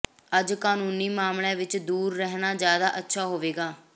ਅੱਜ ਕਾਨੂੰਨੀ ਮਾਮਲੀਆਂ ਵਿੱਚ ਦੂਰ ਰਹਿਨਾ ਜ਼ਿਆਦਾ ਅੱਛਾ ਹੋਵੇਂਗਾ